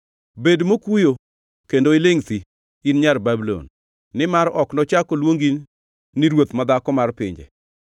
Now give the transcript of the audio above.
Bed mokuyo kendo ilingʼ thi, in nyar Babulon; nimar ok nochak oluong ni ruoth madhako mar pinje.